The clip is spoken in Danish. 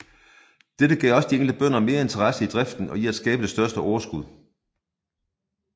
Dette gav de enkelte bønder mere interesse i driften og i at skabe det største overskud